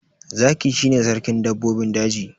Zaki shi ne sarkin dabbobin daji.